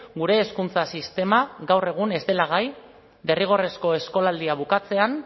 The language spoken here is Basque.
gure hezkuntza sistema gaur egun ez dela gai derrigorrezko eskolaldia bukatzean